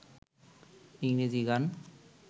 ইংরেজি গান